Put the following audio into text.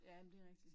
Ja men det rigtigt